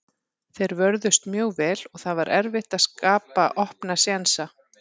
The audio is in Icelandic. Þeir vörðust mjög vel og það var erfitt að skapa opna sénsa.